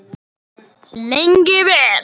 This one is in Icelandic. Lengi vel.